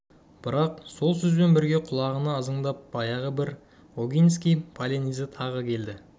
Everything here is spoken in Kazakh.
бірақ сол сөзбен бірге құлағына ызыңдап баяғы бір огинский полонезі тағы келді